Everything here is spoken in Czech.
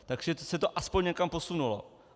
Takže se to aspoň někam posunulo.